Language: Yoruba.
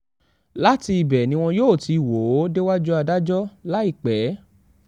láti ibẹ̀ ni wọn yóò ti wò ó déwájú adájọ́ láìpẹ́